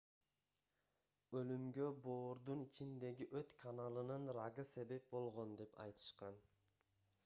өлүмгө боордун ичиндеги өт каналынын рагы себеп болгон деп айтышкан